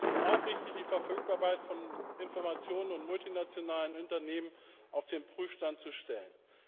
Es ist auch richtig, die Verfügbarkeit von Informationen und multinationalen Unternehmen auf den Prüfstand stellen.